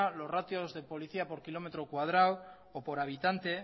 los ratios de policía por kilómetro cuadrado o por habitante